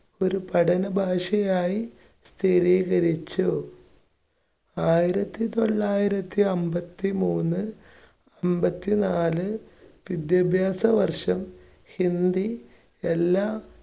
ഒരു പഠന ഭാഷയായി സ്ഥിരീകരിച്ചു. ആയിരത്തിതൊള്ളായിരത്തി അമ്പത്തിമൂന്ന് അമ്പത്തിനാല് വിദ്യാഭ്യാസ വർഷം ഹിന്ദി എല്ലാ